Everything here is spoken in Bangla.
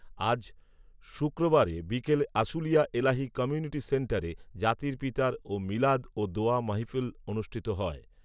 আজ শুক্রবার বিকেলে আশুলিয়ার এলাহী কমিঊনিটি সেন্টারে জাতির পিতার ও মিলাদ ও দোয়া মাহফিল অনুষ্ঠিত হয়